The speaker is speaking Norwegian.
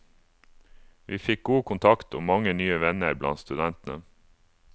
Vi fikk god kontakt, og mange nye venner blant studentene.